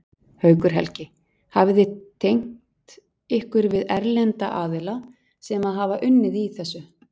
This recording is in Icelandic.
Haukur Helgi: Hafið þið tengt ykkur við erlenda aðila sem að hafa unnið í þessu?